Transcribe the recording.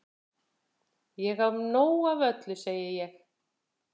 Ég á nóg af öllu segi ég.